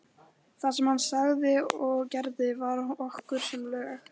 Það sem hann sagði og gerði var okkur sem lög.